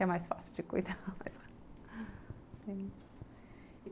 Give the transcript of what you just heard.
É mais fácil de cuidar